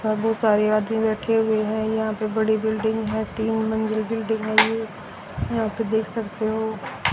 बहोत सारे आदमी बैठे हुए हैं यहां पे बड़ी बिल्डिंग है तीन मंजिल बिल्डिंग है ये यहां पे देख सकते हो।